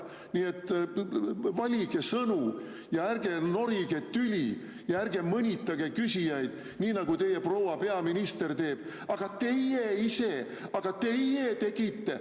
Nii et valige sõnu, ärge norige tüli ja ärge mõnitage küsijaid, nii nagu teie proua peaminister teeb: "Aga teie ise, aga teie tegite!